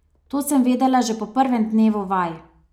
To sem vedela že po prvem dnevu vaj.